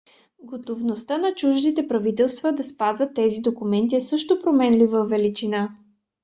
готовността на чуждите правителства да спазват тези документи е също променлива величина